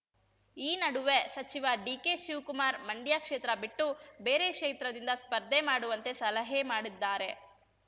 ಈ ನಡುವೆ ಸಚಿವ ಡಿಕೆ ಶಿವ್ಕುಮಾರ್ ಮಂಡ್ಯ ಕ್ಷೇತ್ರ ಬಿಟ್ಟು ಬೇರೆ ಕ್ಷೇತ್ರದಿಂದ ಸ್ಪರ್ಧೆ ಮಾಡುವಂತೆ ಸಲಹೆ ಮಾಡಿದ್ದಾರೆ